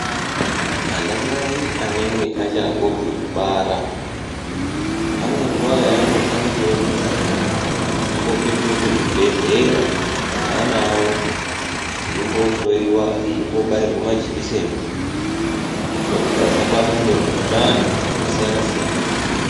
Ana mai anenge achangobve kubara ane nguva yaanofanikire kuti ambopetuke kuzvibhedhlera neana avo eimbohloyiwa, eimbo bairwe majekiseni kuitire kuti asabatwa ngemikhuhlani yakasiyana siyana.